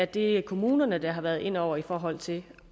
det kommunerne der har været inde over i forhold til